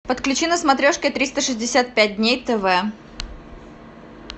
подключи на смотрешке триста шестьдесят пять дней тв